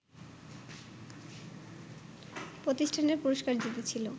প্রতিষ্ঠানের পুরষ্কার জিতেছিল